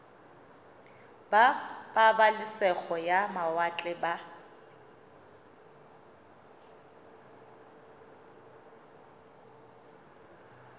ba pabalesego ya mawatle ba